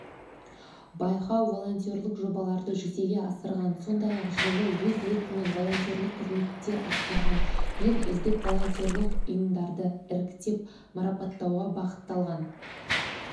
байқау волонтерлік жобаларды жүзеге асырған сондай-ақ жылы өз еркімен волонтерлік қызметтер атқарған ең үздік волонтерлік ұйымдарды іріктеп марапаттауға бағытталған